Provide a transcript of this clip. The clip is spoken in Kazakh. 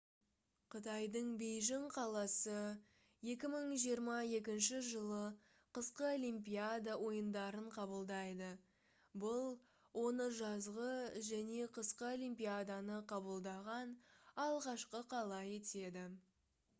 қытайдың бейжің қаласы 2022 жылы қысқы олимпиада ойындарын қабылдайды бұл оны жазғы және қысқы олимпиаданы қабылдаған алғашқы қала етеді